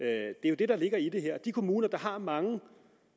er jo det der ligger i det her de kommuner der har mange